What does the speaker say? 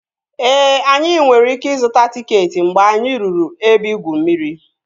Ee, anyị nwere ike ịzụta tịketị mgbe anyị ruru ebe igwu mmiri